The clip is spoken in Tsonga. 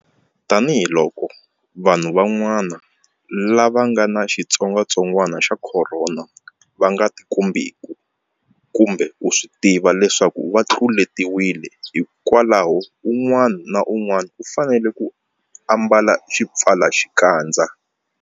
Tanihiloko vanhu van'wana lava nga ni xitsongwatsongwana xa Khorona va nga tikombeki kumbe ku swi tiva leswaku va tluletiwile, hikwalaho un'wana na un'wana u fanele ku ambala xipfalaxikandza.